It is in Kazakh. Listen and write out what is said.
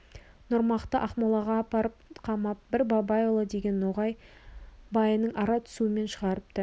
нұрмақты ақмолаға апарып қамап бір бабайұлы деген ноғай байының ара түсуімен шығарыпты